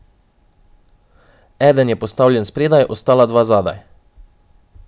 Eden je postavljen spredaj, ostala dva zadaj.